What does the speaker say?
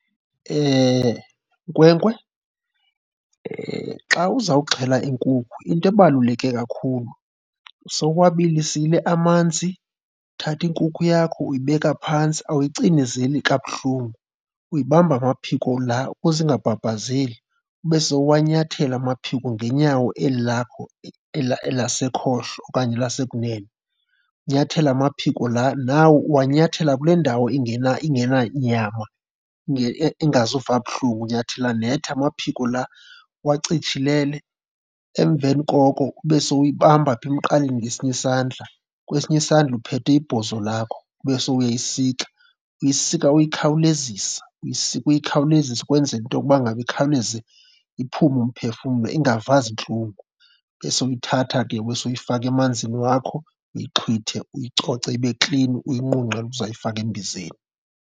Nkwenkwe, xa uzawuxhelwa inkukhu into ebaluleke kakhulu sewuwabilisile amanzi, uthatha iinkukhu yakho uyibeka phantsi. Awuyicinezeli kabuhlungu, uyibamba amaphiko laa ukuze ingabhabhazeli ube sewuwanyathela amaphiko ngenyawo eli lakho lasekhohlo okanye lasekunene. Unyathele amaphiko laa, nawo uwanyathela kule ndawo ingena, ingena nyama engazuva buhlungu. Unyathela net amaphiko laa uwacitshilele. Emveni koko ube sowuyibamba apha emqaleni ngesinye isandla, kwesinye isandla uphethe ibhozo lakho ube sowuyayisika. Uyisika uyikhawulezisa, uyisika uyikhawulezisa ukwenzela into yokuba ngaba ikhawuleze iphume umphefumlo ingava zintlungu. Ube sowuyithatha ke ube sowuyifaka emanzini wakho uyixhwithe, uyicoce ibe klini, uyinqunqele ukuzayifaka embizeni.